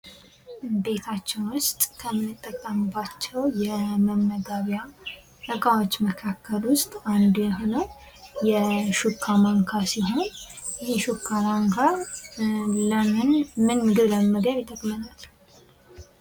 ከቤታችን ውስጥ ከምንጠቀምባቸው የመመገቢያ እቃዎች መካከል ውስጥ አንዱ የሆነው የሹካ ማንካ ሲሆን ይህ ሹካ ማንካ ምን ምግብ ለመመገብ ይጠቅመናል?